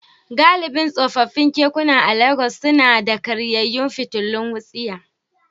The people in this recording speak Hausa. Galibin tsofaffin kekuna a Legas suna da karyayyun fitilun wutsiya.